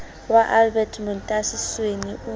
wa albert montasi sweni o